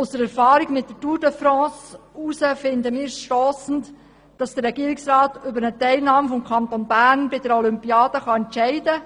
Aufgrund der Erfahrung mit der Tour de France, finden wir es stossend, dass der Regierungsrat über eine Teilnahme des Kantons Bern bei der Olympiade entscheiden kann